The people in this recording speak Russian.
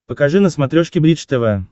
покажи на смотрешке бридж тв